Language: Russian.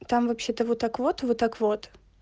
там вообще-то вот так вот вот так вот